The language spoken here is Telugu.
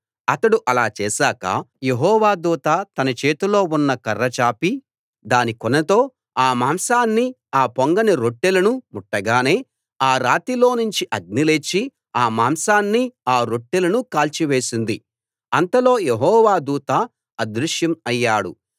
అతడు అలా చేశాక యెహోవా దూత తన చేతిలో ఉన్న కర్ర చాపి దాని కొనతో ఆ మాంసాన్ని ఆ పొంగని రొట్టెలను ముట్టగానే ఆ రాతిలోనుంచి అగ్ని లేచి ఆ మాంసాన్ని ఆ రొట్టెలను కాల్చివేసింది అంతలో యెహోవా దూత అదృశ్యం అయ్యాడు